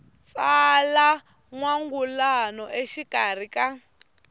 tsala n wangulano exikarhi ka